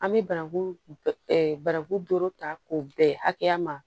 An bɛ bananku bananku doro ta k'o bɛn hakɛya ma